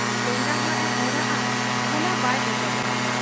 ᱞᱮᱸᱜᱟᱦᱟᱜ ᱮ ᱚᱨᱟᱜ ᱟ ᱚᱱᱟ ᱵᱟᱭ ᱚᱪᱚᱜᱚᱜ ᱟ ᱾